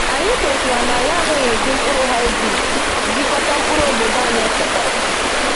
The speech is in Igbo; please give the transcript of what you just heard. Anyị kwetara na anyị agaghị eji mkpụrụ hybrid jikọta mkpụrụ obodo anyị echekwara.